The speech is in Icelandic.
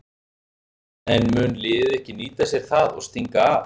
En mun liðið ekki nýta sér það og stinga af?